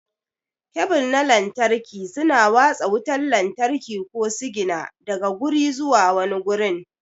Kebul na lantarki suna watsa wutar lantarki ko sigina daga guri zuwa wani gurin.